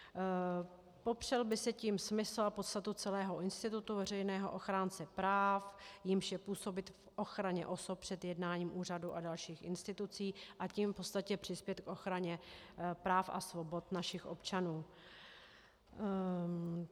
Popřel by se tím smysl a podstata celého institutu veřejného ochránce práv, jímž je působit k ochraně osobě před jednáním úřadů a dalších institucí, a tím v podstatě přispět k ochraně práv a svobod našich občanů.